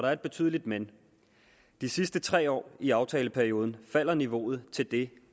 er et betydeligt men de sidste tre år i aftaleperioden falder niveauet til det